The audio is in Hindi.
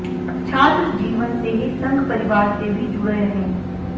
छात्र जीवन से ही संघ परिवार से भी जुड़े रहे